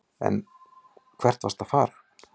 En hvert vastu að fara?